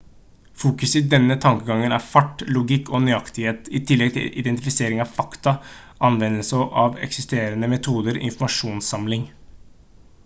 fokuset i denne tankegangen er fart logikk og nøyaktighet i tillegg til identifisering av fakta anvendelse av eksisterende metoder informasjonsinnsamling